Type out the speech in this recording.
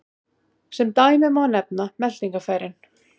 Sem dæmi má nefna meltingarfærin.